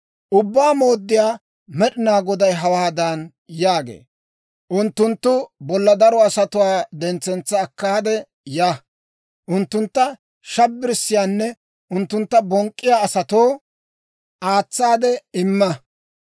Ubbaa Mooddiyaa Med'inaa Goday hawaadan yaagee; «Unttunttu bolla daro asatuwaa dentsetsa akkaade ya. Unttuntta shabbirissiyaanne unttuntta bonk'k'iyaa asatoo aatsaade imma.